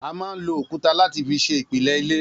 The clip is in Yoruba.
A máa ń lo òkúta láti fi ṣe ìpìlẹ̀ ilé